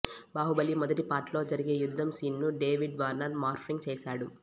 బాహుబలి మొదటి పార్ట్ లో జరిగే యుద్ధం సీన్ ను డేవిడ్ వార్నర్ మార్ఫింగ్ చేశాడు